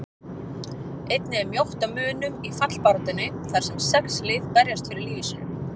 Einnig er mjótt á munum í fallbaráttunni þar sem sex lið berjast fyrir lífi sínu.